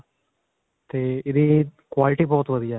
ਤੇ ਇਹਦੀ quality ਬਹੁਤ ਵਧੀਆ ਹੈ.